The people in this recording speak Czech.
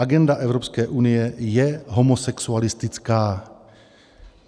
Agenda Evropské unie je homosexualistická.